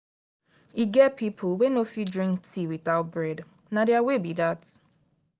e get people wey no fit drink tea without bread na their way be that